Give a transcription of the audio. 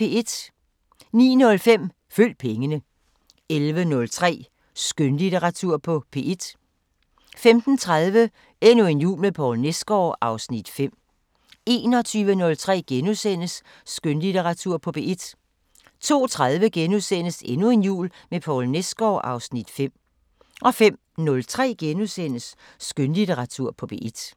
09:05: Følg pengene 11:03: Skønlitteratur på P1 15:30: Endnu en jul med Poul Nesgaard (Afs. 5) 21:03: Skønlitteratur på P1 * 02:30: Endnu en jul med Poul Nesgaard (Afs. 5)* 05:03: Skønlitteratur på P1 *